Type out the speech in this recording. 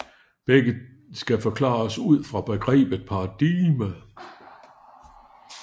Begge skal forklares ud fra begrebet paradigme